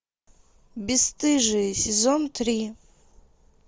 бесстыжие сезон три